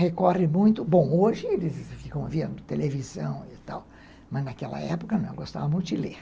recorre muito, bom, hoje eles ficam vendo televisão e tal, mas naquela época não, eu gostava muito de ler.